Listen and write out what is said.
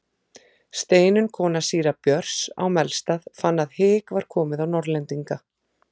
Steinunn kona síra Björns á Melstað fann að hik var komið á Norðlendinga.